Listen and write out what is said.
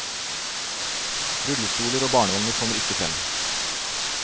Rullestoler og barnevogner kommer ikke frem.